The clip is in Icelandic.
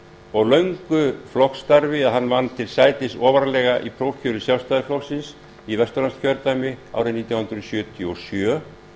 og löngu flokksstarfi að hann vann til sætis ofarlega í prófkjöri sjálfstæðisflokksins í vesturlandskjördæmi haustið nítján hundruð sjötíu og sjö